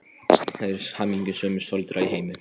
Þau eru hamingjusömustu foreldrar í heimi!